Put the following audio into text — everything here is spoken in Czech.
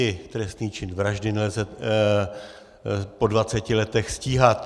I trestný čin vraždy nelze po dvaceti letech stíhat.